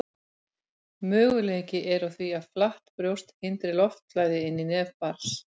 möguleiki er á því að flatt brjóst hindri loftflæði inn í nef barns